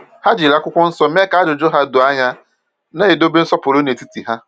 Ha jiri akwụkwọ nsọ mee ka ajụjụ ha doo anya, na-edobe nsọpụrụ n’etiti ha.